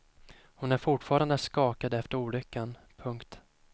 Hon är fortfarande skakad efter olyckan. punkt